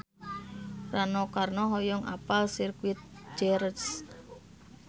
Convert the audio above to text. Rano Karno hoyong apal Sirkuit Jerez